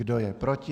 Kdo je proti?